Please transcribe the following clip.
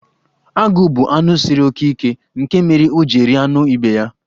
Agụ bụ anụ siri oke ike, nke mere o ji rie anụ ibe ya.